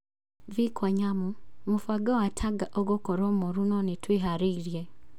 Vic Wanyamu: Mũbango wa Tanga ũgũkorwo mũũru no nĩ tũĩharĩirie.